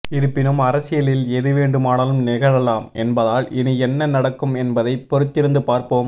இருப்பினும் அரசியலில் எது வேண்டுமானாலும் நிகழலாம் என்பதால் இனி என்ன நடக்கும் என்பதை பொருத்திருந்து பார்ப்போம்